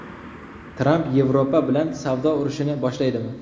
Tramp Yevropa bilan savdo urushini boshlaydimi?